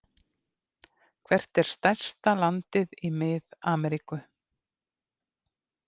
Hvert er stærsta landið í Mið-Ameríku?